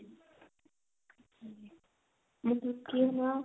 ਮਤਲਬ ਕੀ ਹਨਾ